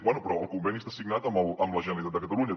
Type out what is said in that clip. bé però el conveni està signat amb la generalitat de catalunya